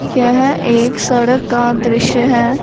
यह एक सड़क का दृश्य हैं।